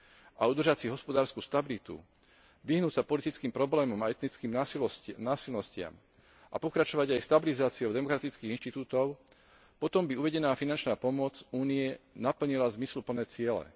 a udržať si hospodársku stabilitu, vyhnúť sa politickým problémom a etnickým násilnostiam a pokračovať aj v stabilizácii demokratických inštitútov, potom by uvedená finančná pomoc Únie naplnila zmysluplné ciele.